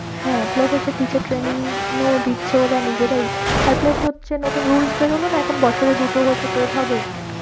হ্যাঁ plus হচ্ছে teacher training ও দিচ্ছে ওরা নিজেরাই আর plus হচ্ছে নতুন rules বেরোলো না এখন বছরে দুটো হচ্ছে TET হবে